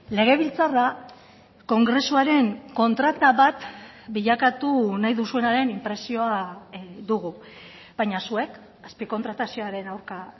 legebiltzarra kongresuaren kontrata bat bilakatu nahi duzuenaren inpresioa dugu baina zuek azpikontratazioaren aurka